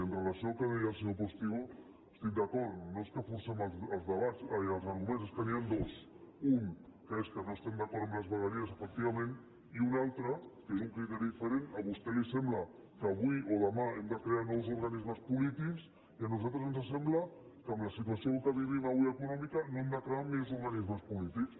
i amb relació al que deia el senyor postigo estic d’acord no és que forcem els debats ai els arguments és que n’hi han dos un que és que no estem d’acord amb les vegueries efectivament i un altre que és un criteri diferent a vostè li sembla que avui o demà hem de crear nous organismes polítics i a nosaltres ens sembla que amb la situació que vivim avui econòmica no hem de crear més organismes polítics